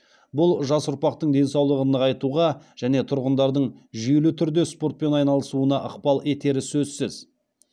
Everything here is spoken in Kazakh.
бұл жас ұрпақтың денсаулығын нығайтуға және тұрғындардың жүйелі түрде спортпен айналысуына ықпал етері сөзсіз